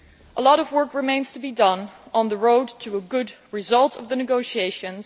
A lot of work remains to be done on the road to a good result from the negotiations.